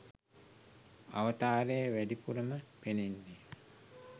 අවතාරය වැඩිපුරම පෙනෙන්නේ